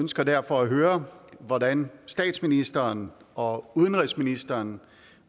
ønsker derfor at høre hvordan statsministeren og udenrigsministeren